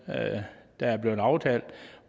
der er blevet aftalt